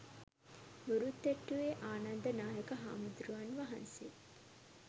මුරුත්තෙට්ටුවේ ආනන්ද නායක හාමුදුරුවන් වහන්සේ